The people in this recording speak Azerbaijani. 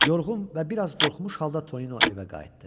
Yorğun və bir az qorxmuş halda Tonino evə qayıtdı.